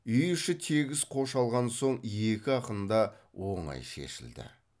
үй іші тегіс қош алған соң екі ақын да оңай шешілді